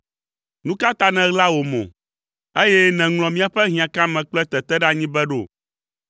Nu ka ta nèɣla wò mo, eye nèŋlɔ míaƒe hiãkame kple teteɖeanyi be ɖo?